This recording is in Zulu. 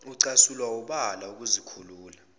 ucasulwa wubala ukuzikhulula